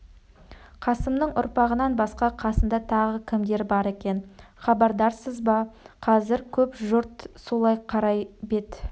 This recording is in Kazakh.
қасымның ұрпағынан басқа қасында тағы кімдер бар екен хабардарсыз ба қазір көп жұрт солай қарай бет